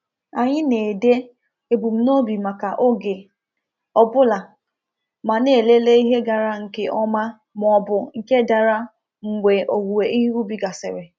Anyị na-ede ebumnobi maka oge ọ bụla, ma na-elele ihe gara nke ọma ma ọ bụ nke dara mgbe owuwe ihe ubi gasịrị.